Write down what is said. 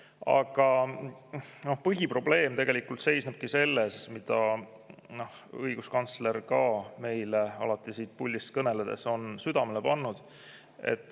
Aga põhiprobleem seisnebki selles, mida õiguskantsler ka meile alati siit puldist kõneledes on südamele pannud.